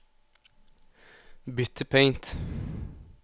Bytt til Paint